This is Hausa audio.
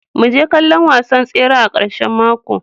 Mu je kallon wasan tsere a karshen mako.